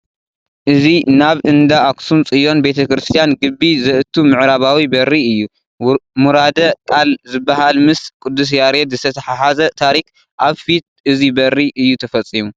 እዚ ናብ እንዳ ኣኽሱም ፅዩን ቤተ- ክርስቲያን ግቢ ዘእቱ ምዕራባዊ በሪ እዩ፡፡ ሙራደ ቃል ዝበሃል ምስ ቅዱስ ያሬድ ዝተተሓሓዘ ታሪክ ኣብ ፊት እዚ በሪ እዩ ተፈፂሙ፡፡